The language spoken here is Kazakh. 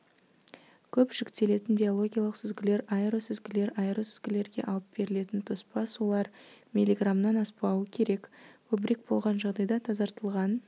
көп жүктелетін биологиялық сүзгілер аэросүзгілер аэросүзгілерге алып берілетін тоспа сулар миллиграммнан аспау керек көбірек болған жағдайда тазартылған